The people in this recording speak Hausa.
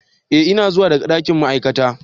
Ee ina zuwa daga dakin ma'aikata,